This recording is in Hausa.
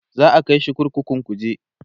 za'a kaishi kurkukun kuje